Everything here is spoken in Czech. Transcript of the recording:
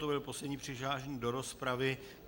To byl poslední přihlášený do rozpravy.